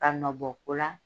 Ka nɔ bɔ ko la